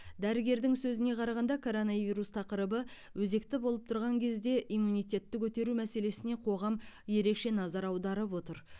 дәрігердің сөзіне қарағанда коронавирус тақырыбы өзекті болып тұрған кезде иммунитетті көтеру мәселесіне қоғам ерекше назар аударып отыр